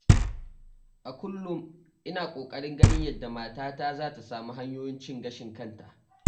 A kullum ina ƙoƙarin ganin yadda matata za ta samu hanyoyin cin gashin kanta.